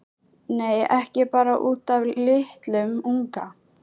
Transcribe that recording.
Nei, ekki bara út af litlum unga.